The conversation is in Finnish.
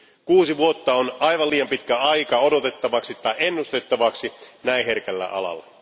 Kuusi vuotta on aivan liian pitkä aika odotettavaksi tai ennustettavaksi näin herkällä alalla.